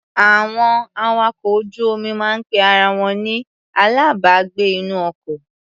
Àwọn awakọ̀ ojú-omi máa ń pe ara wọn ni alábàágbé-inú-ọkọ.